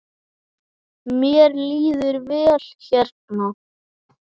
Mér líður vel hérna.